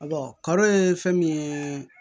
karo ye fɛn min ye